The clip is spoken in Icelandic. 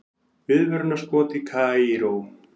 Viðvörunarskot í Kaíró